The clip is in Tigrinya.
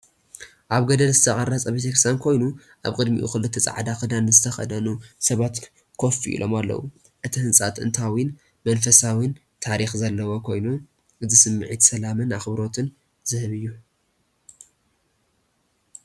ኣብ ገደል ዝተቐርጸ ቤተ ክርስቲያን ኮይኑ፡ ኣብ ቅድሚኡ ክልተ ጻዕዳ ክዳን ዝተኸድኑ ሰባት ኮፍ ኢሎም ኣለዉ። እቲ ህንጻ ጥንታውን መንፈሳውን ታሪኽ ዘለዎ ኮይኑ፡ እዚ ስምዒት ሰላምን ኣኽብሮትን ዝህብ እዩ።